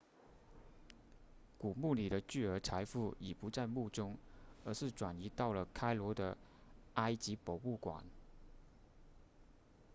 古墓里的巨额财富已不在墓中而是转移到了开罗的埃及博物馆